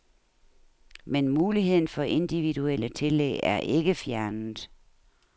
Men muligheden for individuelle tillæg er ikke fjernet.